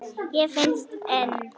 Og finnst enn.